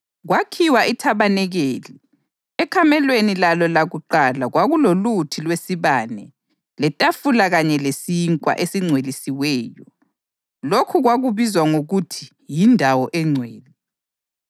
Kwakhiwa ithabanikeli. Ekamelweni lalo lakuqala kwakuloluthi lwesibane, letafula kanye lesinkwa esingcwelisiweyo; lokhu kwakubizwa ngokuthi yiNdawo eNgcwele.